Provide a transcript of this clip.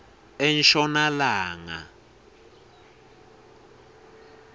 enshonalanga